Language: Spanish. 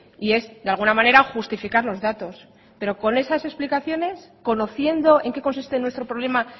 y es de alguna manera justificar los datos pero con esas explicaciones conociendo en qué consiste nuestro problema